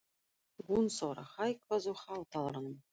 Gunnþóra, hækkaðu í hátalaranum.